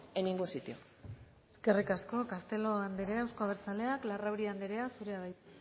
en ningún sitio eskerrik asko castelo anderea euzko abertzaleak larrauri anderea zurea da hitza